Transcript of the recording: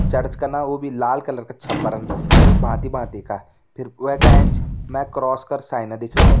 चर्च कना वो भी लाल कलर का छपरन वी भांति भांति का फिर वेका एंच मैं क्रॉस कर साइन दिखेणु।